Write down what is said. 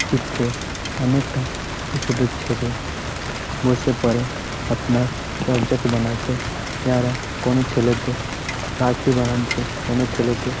চিত্রে অনেকটা ছোট ছোট ছেলে | বসে পরে আপনার কোনো ছেলেতে রাখি বানানছে কোনো ছেলেতে--